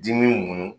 Dimi mun